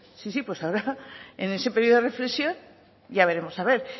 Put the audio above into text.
sí sí pues ahora en ese periodo de reflexión ya veremos a ver